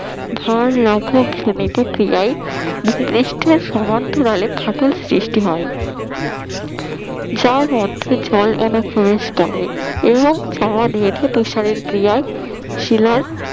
ভার লাঘব জনিত ক্রিয়ায় ভূপৃষ্ঠের সমান্তরালে ফাটল সৃষ্টি হয় যার মধ্যে জল অনুপ্রবেশ করে এবং জমাট বেঁধে তুষারের ক্রিয়ায় শিলায়